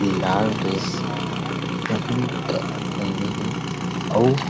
लाल dress पहिन के पहिने हे अऊ --